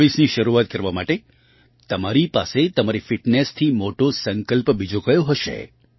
2024ની શરૂઆત કરવા માટે તમારી પાસે તમારી ફિટનેસથી મોટો સંકલ્પ બીજો કયો હશે